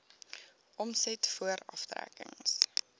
omset voor aftrekkings